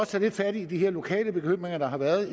tage lidt fat i de her lokale bekymringer der har været